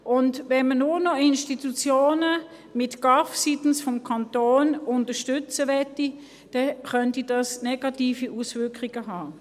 Wenn man seitens des Kantons nur noch Institutionen mit GAV unterstützen möchte, könnte dies negative Auswirkungen haben.